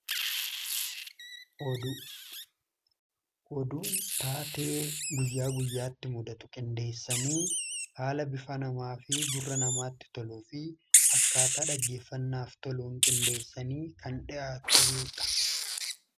Oduu:-Oduun taatee guyyaa guyyaatti mudatu qindeessanii haala bifaa namaa fi gurra namaatti toluu fi akkaataa dhaggeeffannaaf toluun qindeessanii kan dhi'aatudha.